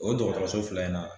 O dɔgɔtɔrɔso fila in na.